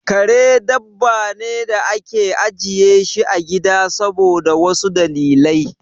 Kare dabba ne da ake ajiye shi a gida saboda wasu dalilai.